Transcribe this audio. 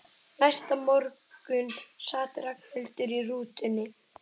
Næsta morgun sat Ragnhildur í rútunni.